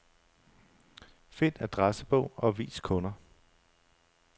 Find adressebog og vis kunder.